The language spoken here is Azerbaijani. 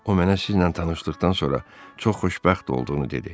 O mənə sizinlə tanışlıqdan sonra çox xoşbəxt olduğunu dedi.